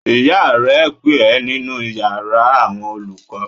Ìyá rẹ ń pè ẹ́ nínú yàrá àwọn olùkọ́